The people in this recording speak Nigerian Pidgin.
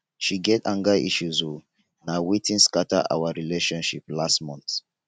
she get anger issues o na wetin scatter our relationship last month.